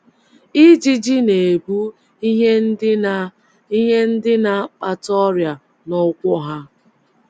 Ijiji na - ebu ihe ndị na ihe ndị na - akpata ọrịa n’ụkwụ ha